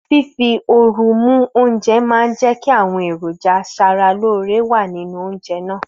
Fífi oru mú oúnjẹ máa ń jẹ́ kí àwọn èròjà asaralóore wà nínú oúnjẹ náà